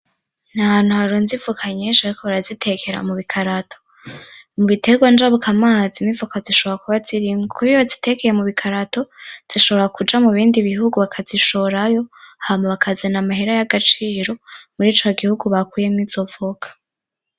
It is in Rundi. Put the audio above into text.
N'ahantu harunze ivoka nyinshi bariko barazitekera mubikarato, mubiterwa njabukamazi n'ivoka zishora kuba zirimwo kubera iyo bazitekeye mubukarato zishobora kuja mubindi bihugu bakazishorayo hama bakazana amahera y'agaciro muri ca gihugu bakuyemwo izo voka.